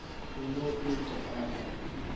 a no et a ma